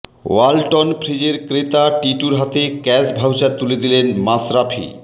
ওয়ালটন ফ্রিজের ক্রেতা টিটুর হাতে ক্যাশ ভাউচার তুলে দিলেন মাশরাফি